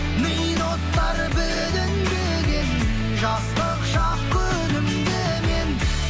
мида от бар бүлінбеген жастық шақ күлімдеген